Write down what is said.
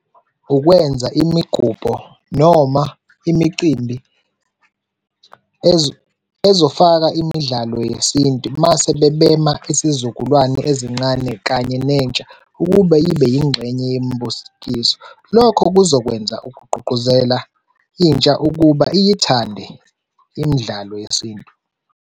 Ukwenza imigubho noma imicimbi ezofaka imidlalo yesintu. Uma sebebema isizukulwane ezincane kanye nentsha ukube ibe yingxenye yembuskiso. Lokho kuzokwenza ukugqugquzela intsha ukuba iyithande imidlalo yesintu.